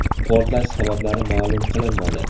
Portlash sabablari ma’lum qilinmadi.